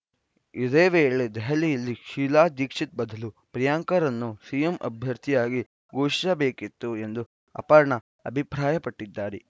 ಇದೇ ವೇಳೆ ದೆಹಲಿಯಲ್ಲಿ ಶೀಲಾ ದೀಕ್ಷಿತ್‌ ಬದಲು ಪ್ರಿಯಾಂಕಾರನ್ನು ಸಿಎಂ ಅಭ್ಯರ್ಥಿಯಾಗಿ ಘೋಷಿಸಬೇಕಿತ್ತು ಎಂದೂ ಅಪರ್ಣಾ ಅಭಿಪ್ರಾಯಪಟ್ಟಿದ್ದಾರೆ